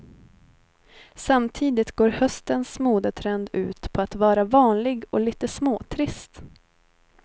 Samtidigt går höstens modetrend ut på att vara vanlig och lite småtrist.